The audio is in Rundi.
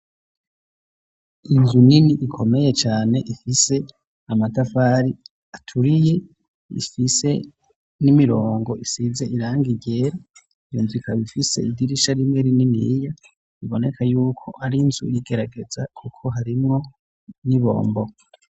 Inzu nini ikomeye cyane, ifise amatafari aturiye, ifise n'imirongo isize irangi ryera. iyonzu ikaba ifise idirisha rimwe rininiya iboneka yuko ar'inzu yigaragaza kuko harimwo n'ibombo.